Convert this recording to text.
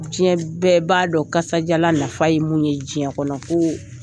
Diɲɛ bɛɛ b'a dɔn kasadiyalan nafa ye mun ye diɲɛ kɔnɔ ko